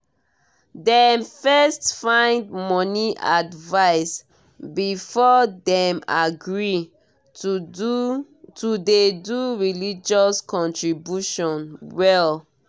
dem first find money advice before dem agree to dey do religious contribution well